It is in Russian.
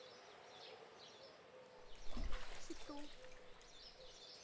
читу